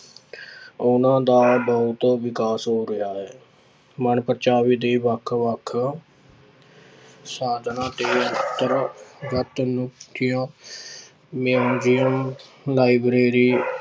ਉਹਨਾਂ ਦਾ ਬਹੁਤ ਵਿਕਾਸ ਹੋ ਰਿਹਾ ਹੈ ਮਨਪ੍ਰਚਾਵੇ ਦੇ ਵੱਖ ਵੱਖ ਸਾਧਨਾਂ ਤੇ library